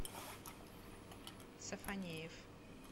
сафонеев